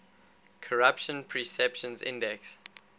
corruption perceptions index